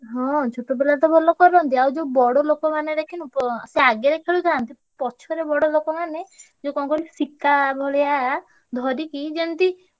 ହଁ ଛୋଟ ପିଲା ତ ଭଲ କରନ୍ତି। ଆଉ ଯୋଉ ବଡ ଲୋକମାନେ ଦେଖିନୁ ~ପ ସିଏ ଆଗେରେ ଖେଳୁଥାନ୍ତି। ପଛ ରେ ବଡଲୋକମାନେ ଯୋଉ କଣ କହିଲୁ ଶିକା ଭଳିଆ ଧରିକି ଯେମତି